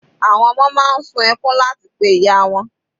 Àwọn ọmọ máa ń sun ẹkún láti pe ìyá wọn.